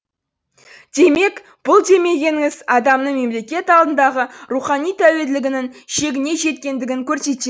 демек бұл демегеніңіз адамның мемлекет алдындағы рухани тәуелділігінің шегіне жеткендігін